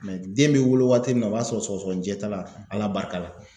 den mɛ wolo waati min na o b'a sɔrɔ sɔgɔsɔgɔnijɛ t'a la Ala barika la.